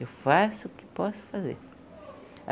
Eu faço o que posso fazer.